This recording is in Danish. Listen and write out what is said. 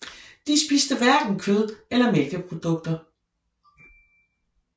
De spiste hverken kød eller mælkeprodukter